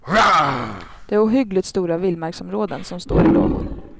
Det är ohyggligt stora vildmarksområden som står i lågor.